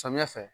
Samiya fɛ